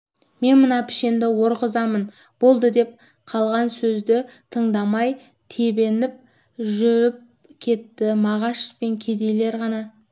мен мына пішенді орғызамын болды деп қалған сөзді тыңдамай тебініп жүріп кетті мағаш пен кедейлер ғана